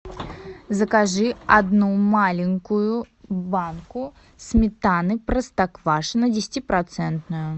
закажи одну маленькую банку сметаны простоквашино десятипроцентную